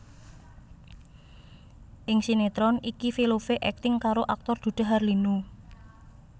Ing sinetron iki Velove akting karo aktor Dude Harlino